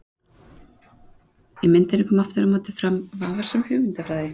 Í myndinni kom aftur á móti fram afar vafasöm hugmyndafræði.